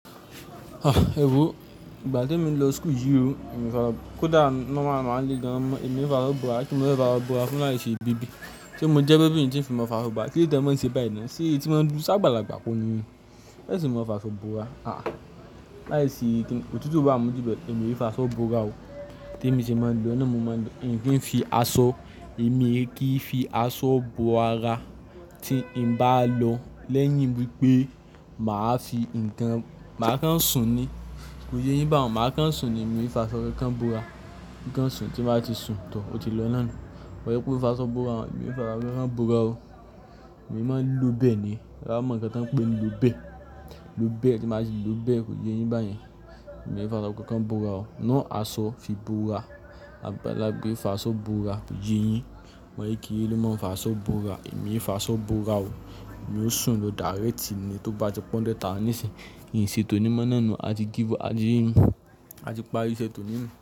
Ah! Ewo ìgbà tí emi lọ school yìí o, kódà normal normal n le gan emi ò fi aṣọ bora, kíni mo fẹ́ fi aṣọ bora fún láì ṣe baby. Sé mo jẹ́ baby ni, tí n fi mo fa aṣọ bora? Kí lóde te mo ń ṣe báyìí náà? Sé èti máa ń dún ṣe ábàlàgbà kò ní yín ni? Ẹ ṣe mo fa'ṣọ bora? Ah! Láisì kíni, ó tútù o bá mu ju bẹ̀e. Èmi ò faaṣọ bora. Tí èmi ṣe máa ń lọ náà mo máa ń lo, ń kì fi aṣọ, èmi e kì í fi aṣọ bo ara tí n bá lọ. Lẹ́yìn wípé, mà á fi ǹkan, mà á kan sùn ní. Kò ye yín bá hun, mà á kan sùn ní, èmi ò fi aṣọ kankan bora. Ǹkan sùn tí bá ti sun, to, ó ti lọ náà nù. Kò ye kó fa aṣọ bora, èmi ò fi aṣọ kankan bora o. Èmi máa ń lo bẹ̀ ni. Tí e bá mọ̀ nkán tí wọ́n ń pè lo bẹ̀e lo bẹ̀ tí mà á ti lo bẹ̀, kò ye yín báyẹn. Èmi ò farabọ́ kankan bọ̀wọ́ o. Náà aṣọ fi bora, ábàlàgba e faaṣọ bora, kò ye yín. Ọmọ kékeré ló máa ń fi aṣọ bora èmi ò fi aṣọ bora o. Èmi ó sùn lọ direct ni tó bá ti pe hundred thousand ni sin n ṣe tóní mo náà ni, àti give up àti parí iṣẹ́ tóní nù.